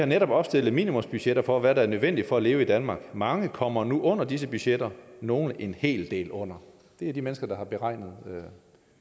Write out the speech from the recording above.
netop har opstillet minimumsbudgetter for hvad der er nødvendigt for at leve i danmark mange kommer nu under disse budgetter nogle en hel del under det er de mennesker der har beregnet den